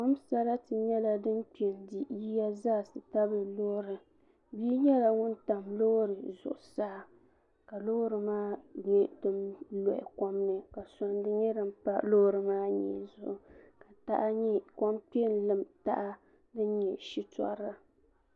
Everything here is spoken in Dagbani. kom sarati nyɛla din di yiya zaa ti tabili loori so nyɛla ŋun tam loori zuɣusaa ka loori maa nyɛ din loɣi kom ni ka sondi nyɛ din pa loori maa mii zuɣu ka kom kpɛ n lim taha din nyɛ shitɔri